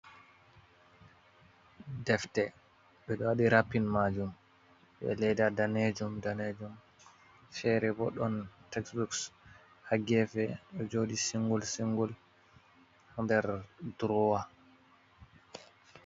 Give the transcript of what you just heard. Defte bedo wadi rappin majum be leda danejum danejum fere bo don taksbooks ha gefe jodi singul singul der drowa.